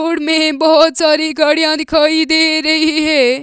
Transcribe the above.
में बहोत सारी गाड़ियां दिखाई दे रही है।